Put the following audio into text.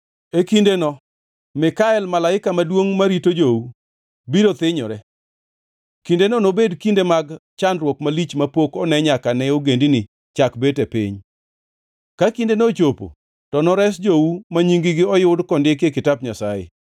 “E kindeno Mikael, malaika maduongʼ marito jou, biro thinyore. Kindeno nobed kinde mag chandruok malich mapok one nyaka ne ogendini chak bet e piny. Ka kindeno ochopo to nores jou ma nying-gi oyud kondiki e kitap Nyasaye.